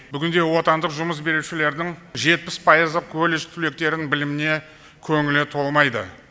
бүгінде отандық жұмыс берушілердің жетпіс пайызы колледж түлектерінің біліміне көңілі толмайды